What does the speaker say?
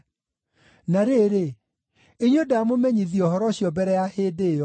Na rĩrĩ, inyuĩ ndaamũmenyithia ũhoro ũcio mbere ya hĩndĩ ĩyo.